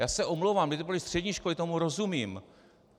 Já se omlouvám, kdyby to byly střední školy, tomu rozumím.